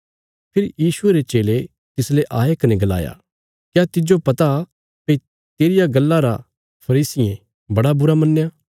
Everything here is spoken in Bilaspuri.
फेरी यीशुये रे चेले तिसले आये कने गलाया क्या तिज्जो पता भई तेरिया गल्ला रा फरीसियें बड़ा बुरा मन्नया